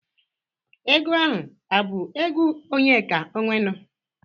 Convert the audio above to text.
Egwu ahụ a bụ egwu Onyeka Ọnwenu?